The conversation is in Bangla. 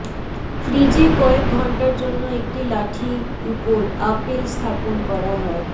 ফ্রিজে কয়েক ঘন্টার জন্য একটি লাঠি উপর আপেল স্থাপন করা হয়